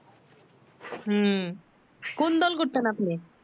হু কোন দল করতেন আপনি